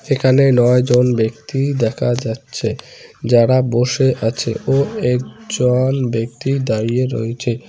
এখানে নয় জন ব্যক্তি দেখা যাচ্ছে যারা বসে আছে ও একজন ব্যক্তি দাঁড়িয়ে রয়েছে।